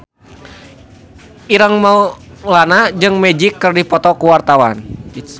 Ireng Maulana jeung Magic keur dipoto ku wartawan